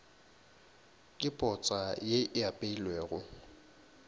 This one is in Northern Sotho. ke potsa ye e apeilwego